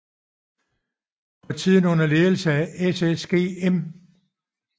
For tiden under ledelse af SSG M